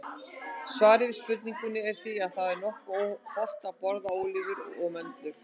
Svarið við spurningunni er því að það er nokkuð hollt að borða ólívur og möndlur.